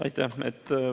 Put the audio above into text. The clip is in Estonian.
Aitäh!